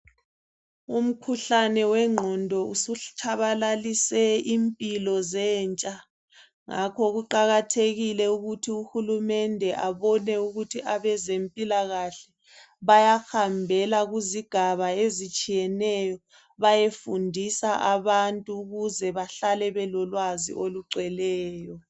Umkhuhlane wengqondo usutshabalalise impilo zentsha, ngakho kuqakathekile ukuthi uhulumende abone ukuthi abezempilakahle bayahambela kuzigaba ezitshiyeneyo bayefundisa abantu ukuze bahlale belolwazi olugcweleyo.